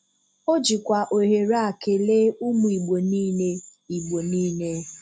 O jikwa ohere a kele ụmụ Igbo niile Igbo niile